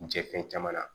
Jɛ fɛn caman na